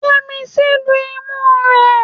Yẹ́misí lu imú rẹ.